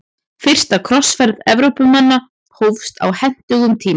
Fyrsta krossferð Evrópumanna hófst á hentugum tíma.